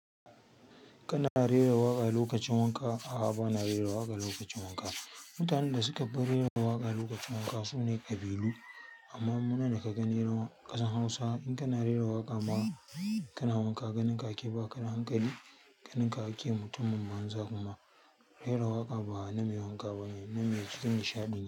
Kana rera waƙa lokacin wanka? A'a, ba na rera waƙa lokacin wanka. Mutanen da suka fi rera waƙa lokacin wanka sune kabilu amma mu nan daka gani ƙasar hausa in kana rera waƙa ma kana wanka ganin ka ake ba ka da hankali, ganin ka ake mutumin manza kuma. Rera waƙa ba na mai wanka bane, na mai cikin nishaɗi ne.